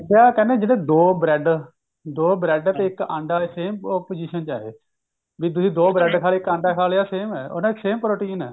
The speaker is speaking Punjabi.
ਦੇਖਿਆ ਕਹਿੰਦੇ ਜਿਹੜੇ ਦੋ bread ਦੋ bread ਤੇ ਇੱਕ ਅੰਡਾ same position ਚ ਐ ਇਹ ਵੀ ਤੁਸੀਂ ਦੋ bread ਖਾਲੇ ਇੱਕ ਅੰਡਾ ਖਾ ਲਿਆ same ਐ ਉਹਨਾਂ ਚ same protein ਐ